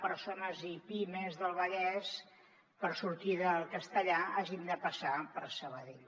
persones i pimes del vallès per sortir de castellar hagin de passar per sabadell